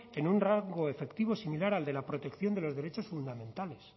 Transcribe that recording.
en un rango efectivo similar al de la protección de los derechos fundamentales